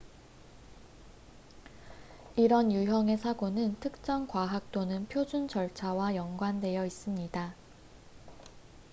이런 유형의 사고는 특정 과학 또는 표준 절차와 연관되어 있습니다